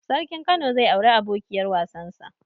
Sarkin kano zai auri abokiyar wasan sa